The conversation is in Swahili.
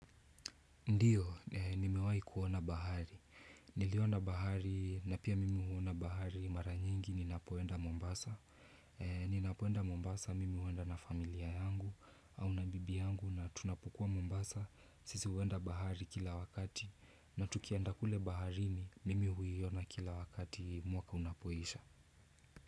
Ndiyo, nimewai kuona bahari. Niliona bahari na pia mimi huona bahari mara nyingi ninapoenda Mombasa. Ninapoenda Mombasa mimi uenda na familia yangu au na bibi yangu na tunapokua Mombasa sisi huenda bahari kila wakati na tukienda kule baharini mimi huiona kila wakati mwaka unapoisha.